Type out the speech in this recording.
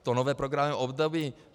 To nové programové období.